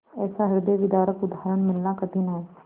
ऐसा हृदयविदारक उदाहरण मिलना कठिन है